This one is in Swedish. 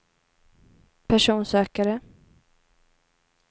personsökare